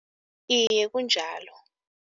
Iye kunjalo.